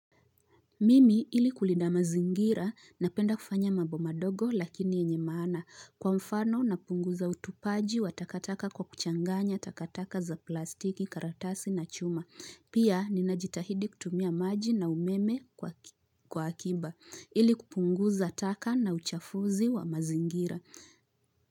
Mimi ili kulindda mazingira na penda kufanya mambo madogo lakini yenye maana. Kwa mfano napunguza utupaji wa takataka kwa kuchanganya takataka za plastiki karatasi na chuma, pia ninajitahidi kutumia maji na umeme kwa akiba ili kupunguza taka na uchafuzi wa mazingira.